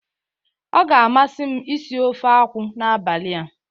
Ọ ga-amasị m isi ofe akwụ n'abalị a.